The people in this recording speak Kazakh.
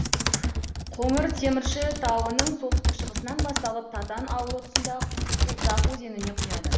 қоңыртемірші тауының солтүстік шығысынан басталып татан ауылы тұсында қусақ өзеніне құяды